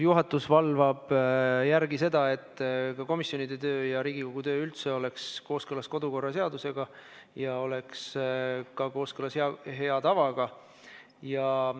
Juhatus valvab selle järele, et komisjonide ja Riigikogu töö oleks kooskõlas kodu- ja töökorra seadusega ja ka hea tavaga.